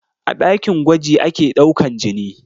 A ɗakin gwaji ake ɗaukan jini